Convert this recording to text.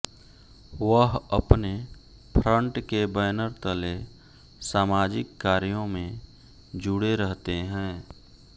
वह अपने फ्रंट के बैनर तले सामाजिक कार्यों में जुड़े रहते हैं